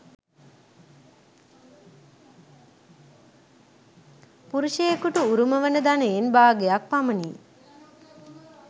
පුරුෂයකුට උරුම වන ධනයෙන් භාගයක් පමණි .